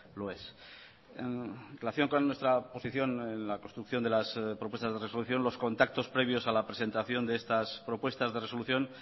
lo es en relación con nuestra posición en la construcción de las propuestas de resolución los contactos previos a la presentación de estas propuestas de resolución